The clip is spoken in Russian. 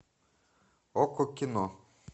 окко кино